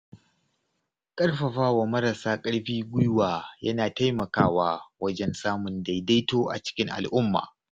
Ƙarfafawa marasa ƙarfi guiwa yana taimakawa wajen samun daidaito a cikin al’umma.